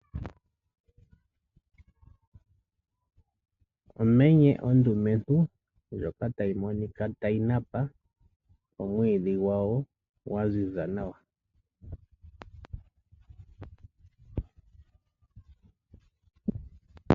Omenye ondumentu ndjoka tayi monika tayi napa omwiidhi gwawo gwa ziza nawa.